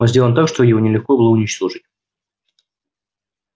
он сделан так что его нелегко было уничтожить